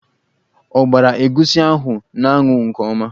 Ọ gbara egwusi ahụ n'anwụ nke ọma?